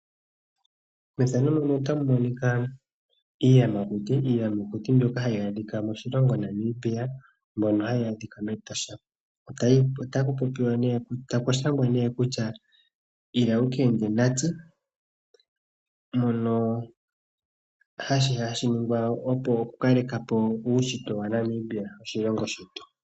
Iiyamakuti mbyoka hayi adhika moshilongo Namibia mbyono hayi adhika mEtosha. Ila wukende natse, mono hashi ningwa, opo okukalekapo uushitwe waNamibia oshilongo shetu.